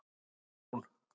Hafrún